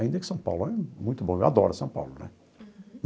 Ainda que São Paulo é muito bom, eu adoro São Paulo, né?